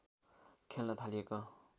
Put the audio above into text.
खेल्न थालिएको